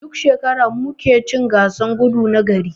Duk shekara mu muke cin gasan gudu na gari.